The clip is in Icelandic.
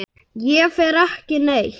Ég fer ekki neitt.